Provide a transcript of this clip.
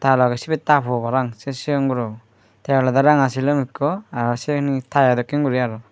ta logey sibey ta po parapang se sigon gurobo te olode ranga silum ekko aro siben he tayo dokken guri aro.